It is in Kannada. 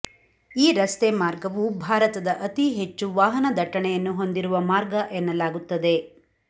ಈ ರಸ್ತೆ ಮಾರ್ಗವು ಭಾರತದ ಅತಿ ಹೆಚ್ಚು ವಾಹನ ದಟ್ಟಣೆಯನ್ನು ಹೊಂದಿರುವ ಮಾರ್ಗ ಎನ್ನಲಾಗುತ್ತದೆ